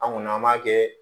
An kɔni an b'a kɛ